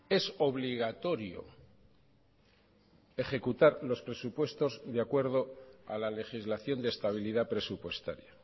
es obligatorio ejecutar los presupuestos de acuerdo a la legislación de estabilidad presupuestaria